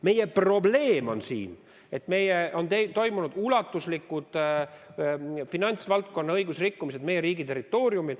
Meie probleem on see, et on toimunud ulatuslikud finantsvaldkonna õigusrikkumised meie riigi territooriumil.